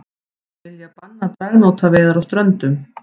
Vilja banna dragnótaveiðar á Ströndum